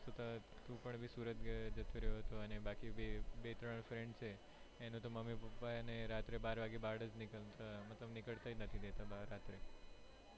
તું પણ ભી સુરત જતુ રેહવું તું અને બાકી બે ત્રણ friends છે એનો તો મમ્મી પપ્પા એને રાત્રે બાર વાગે બહાર જ નીકડતા મતલબ નીકડવા નથી દેતા રાત્રે